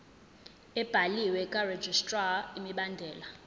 ebhaliwe karegistrar imibandela